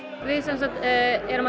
við erum að